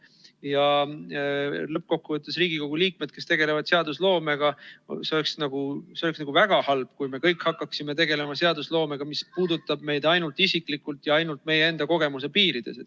Ja lõppkokkuvõttes, Riigikogu liikmed, kes tegelevad seadusloomega – see oleks väga halb, kui me kõik hakkaksime tegelema seadusloomega, mis puudutab meid ainult isiklikult ja ainult meie enda kogemuse piirides.